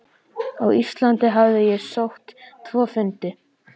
Á Íslandi hafði ég sótt tvo fundi.